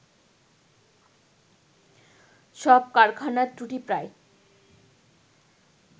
সব কারখানার ত্রুটি প্রায়